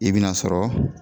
I bi n'a sɔrɔ